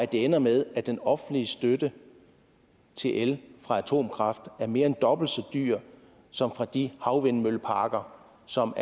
det ender med at den offentlige støtte til el fra atomkraft er mere end dobbelt så dyr som fra de havvindmølleparker som